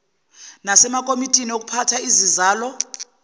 nasemakomitini okuphatha izizalo